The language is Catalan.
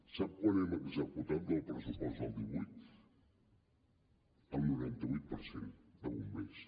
sap quant hem executat del pressupost del divuit el noranta vuit per cent de bombers